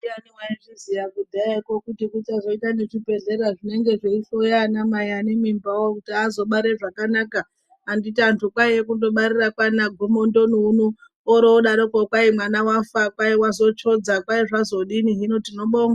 Ndianai waizviziya kudhaya ko kuti kuchazoita zvibhehleya zvinenge zveihloya anamai anemimbawo kuti azobara zvakanaka anditi anhu kwaiya kundobarira kwaanaGomondoni uno oroodarokwo kwai mwana wafa ,kwai wazotsvodza ,kwai zvazodini hino tinobonga.